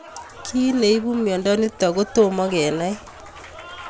Kiy neipu miondo nitok ko tomo kenai